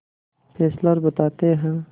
Fessler बताते हैं